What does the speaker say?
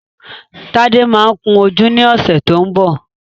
Tádé máa kun ojú ní ọ̀sẹ̀ tó ń bọ̀